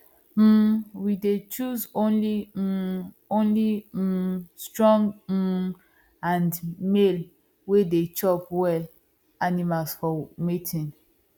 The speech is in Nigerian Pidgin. um we dey choose only um only um strong um and male way dey chop well animals for mating